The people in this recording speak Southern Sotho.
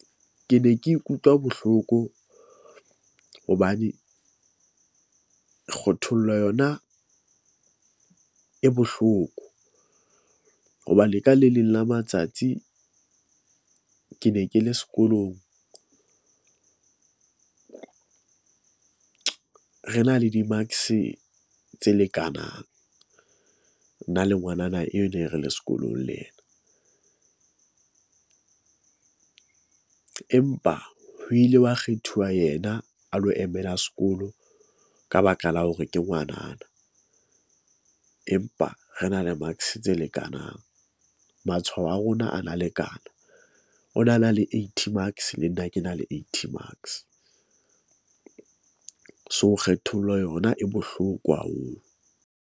Ke ne ke ikutlwa bohloko hobane kgothollo yona e bohloko, hoba le ka le leng la matsatsi, ke ne ke le sekolong . Re na le di-marks tse lekanang nna le ngwanana eo, ne re le sekolong le ena . Empa ho ile wa kgethuwa yena a lo emela sekolo ka baka la hore ke ngwanana. Empa re na le marks tse lekanang. Matshwao a rona a na lekana. O na na le 80 marks, le nna ke na le 80 marks . So, kgethollo yona e bohloko haholo.